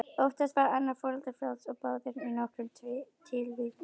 Oftast var annað foreldri frjálst og báðir í nokkrum tilvikum.